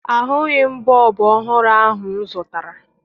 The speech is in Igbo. Ahụghị m bọọbụ ọhụrụ ahụ m zụtara